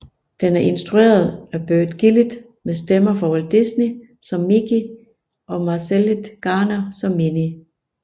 Den er instrueret af Burt Gillett med stemmer fra Walt Disney som Mickey og Marcellite Garner som Minnie